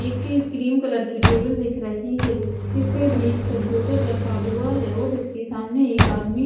एक cream colour की table दिख रही है जिसके पे भी एक कंप्यूटर रखा हुआ है और जिसके सामने एक आदमी--